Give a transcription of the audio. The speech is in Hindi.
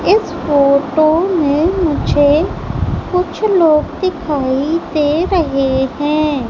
इस फोटो में मुझे कुछ लोग दिखाई दे रहे हैं।